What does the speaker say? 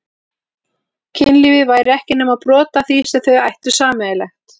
Kynlífið væri ekki nema brot af því sem þau ættu sameiginlegt.